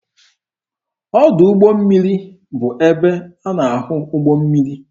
Ọdụ ụgbọ mmiri bụ ebe a na-ahụ ụgbọ mmiri.